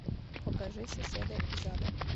покажи соседа из ада